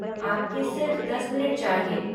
आपके सिर्फ़ दस मिनट चाहिए।